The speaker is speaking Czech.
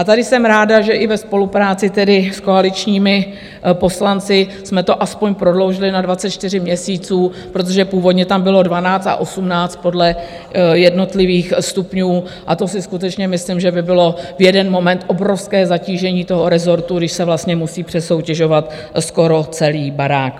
A tady jsem ráda, že i ve spolupráci tedy s koaličními poslanci jsme to aspoň prodloužili na 24 měsíců, protože původně tam bylo 12 a 18 podle jednotlivých stupňů, a to si skutečně myslím, že by bylo v jeden moment obrovské zatížení toho rezortu, když se vlastně musí přesoutěžovat skoro celý barák.